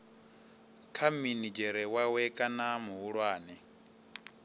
kha minidzhere wawe kana muhulwane